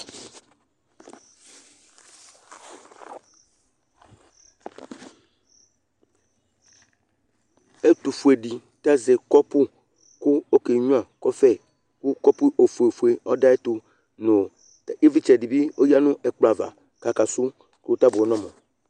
Ɛtʋfue dɩ tazɛ kɔpʋ kʋ okenyuǝ kɔfɛ Kʋ kɔpʋ ofueofue ɔdʋ ayɛtʋ yoo K'ɛ ɩvlɩtsɛ dɩ bɩ oyǝ nʋ ɛkplɔ ava k'aka sʋ kʋ ,tabʋɛ n'ɔmʋ !